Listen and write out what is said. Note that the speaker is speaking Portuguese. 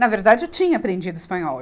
Na verdade, eu tinha aprendido espanhol.